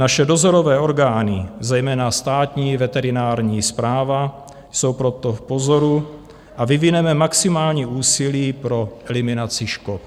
Naše dozorové orgány, zejména Státní veterinární správa, jsou proto v pozoru a vyvineme maximální úsilí pro eliminaci škod.